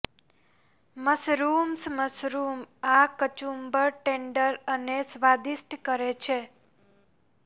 mushrooms mushroom આ કચુંબર tender અને સ્વાદિષ્ટ કરે છે